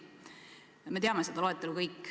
Me kõik teame seda loetelu.